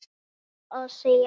Ég ákvað að segja satt.